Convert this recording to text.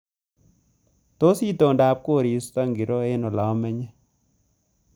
Tos itondab koristo ko ngiro eng olamenye